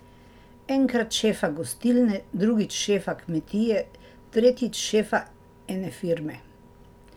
Enkrat šefa gostilne, drugič šefa kmetije, tretjič šefe ene firme.